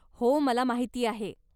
हो, मला माहिती आहे.